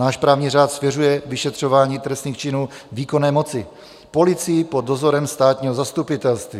Náš právní řád svěřuje vyšetřování trestných činů výkonné moci, policii pod dozorem státního zastupitelství.